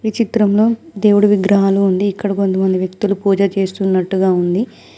చిత్రంలో దేవుడి విగ్రహాలు ఉంది ఇక్కడ కొంతమంది వ్యక్తులు పూజ చేస్తున్నట్టుగా ఉంది.